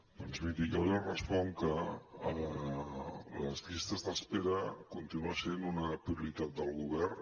doncs miri jo li responc que les llistes d’espera continua sent una prioritat del govern